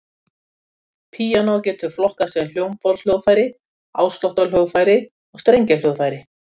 Píanó getur flokkast sem hljómborðshljóðfæri, ásláttarhljóðfæri og strengjahljóðfæri.